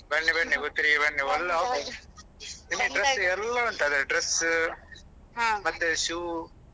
ಬನ್ನಿ ಬನ್ನಿ Puttur ಗೆ ಬನ್ನಿ ಒಳ್ಳೆ offer ಉಂಟು ನಿಮ್ಗೆ dress ಎಲ್ಲಾ ಉಂಟು ಅದೇ dress ಮತ್ತೆ shoe .